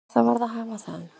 En það varð að hafa það.